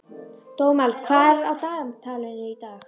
Dómald, hvað er á dagatalinu í dag?